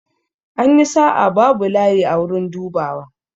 An yi sa'a, babu layi a wurin dubawa.